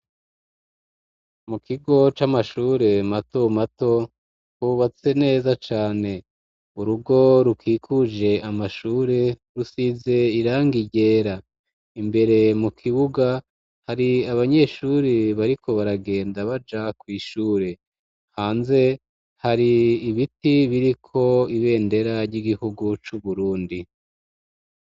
Mu kigo, c'amashure mato mato, hubatse neza cane; urugo rukikuje amashure, rusize irangi ryera; imbere mu kibuga, hari abanyeshuri, bariko baragenda, baja kw'ishure; hanze, hari ibiti biriko ibendera, ry'igihugu c'Uburundi.